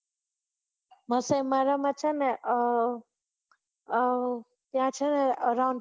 Maasai મારા માં છે અર ને અર ત્યાં છે ને